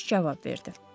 Gənc cavab verdi.